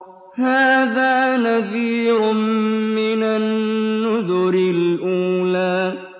هَٰذَا نَذِيرٌ مِّنَ النُّذُرِ الْأُولَىٰ